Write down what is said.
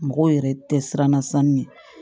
Mɔgɔw yɛrɛ tɛ siran sanu ɲɛ